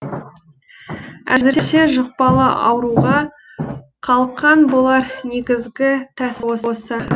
әзірше жұқпалы ауруға қалқан болар негізгі тәсіл осы